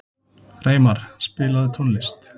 Reimar, spilaðu tónlist.